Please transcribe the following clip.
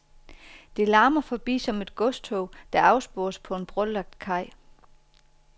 Det larmer forbi som et godstog, der afspores på en brolagt kaj.